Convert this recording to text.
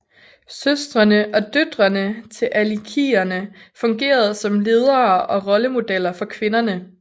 Søstrene og døtrene til alikierne fungerede som ledere og rollemodeller for kvinderne